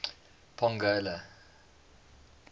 pongola